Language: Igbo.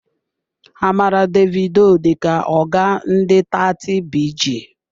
Amara Davido dịka oga ndị 30BG.